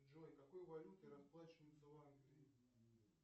джой какой валютой расплачиваются в англии